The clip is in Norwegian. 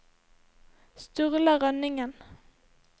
Sturla Rønningen